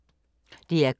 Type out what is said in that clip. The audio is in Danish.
DR K